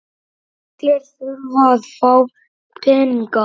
Allir þurfa að fá peninga.